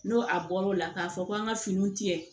N'o a bɔr'o la k'a fɔ ko an ka fini tigɛ